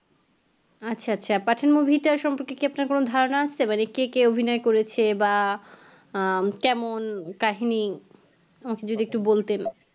আচ্ছা আচ্ছা pathan movie টার সম্পর্কে কি আপনার কোনও ধারনা আছে মানে কে কে অভিনয় করেছে বা উম কেমন কাহিনি